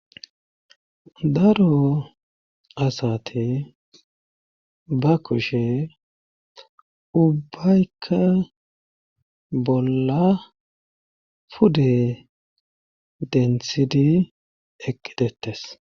Daro asate ba kushe ubbaykka bolla pude denthidi eqqitettes.